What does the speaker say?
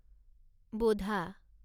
বোধা